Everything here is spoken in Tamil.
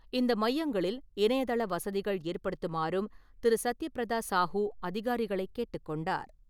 இந்த மையங்களில் இணையதள வசதிகள் ஏற்படுத்துமாறும் திரு.சத்தியபிரதா சாஹூ அதிகாரிகளை கேட்டுக் கொண்டார்.